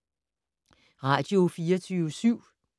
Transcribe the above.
Radio24syv